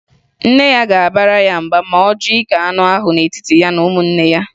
Nne ya ga-abara ya mba ma ọ jụ ike anụ ahụ n'etiti ya na ụmụnne ya